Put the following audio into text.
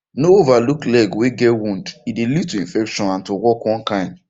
no overlook leg way get wound e dey lead to infection and to walk one kind